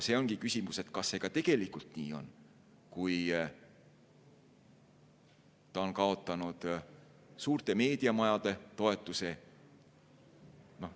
Küsimus ongi, kas see ka tegelikult nii on, kui ta on kaotanud suurte meediamajade toetuse.